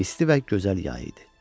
İsti və gözəl yay idi.